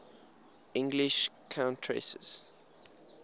english countesses